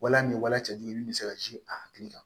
Wala ni wala cɛjugu min bɛ se ka a hakili kan